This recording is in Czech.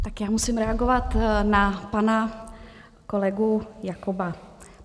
Tak já musím reagovat na pana kolegu Jakoba.